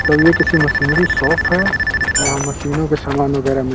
क्या ये किसी मशीनरी शोफ़ है। यहाँ मशीनों के सामान वगेरा मिल --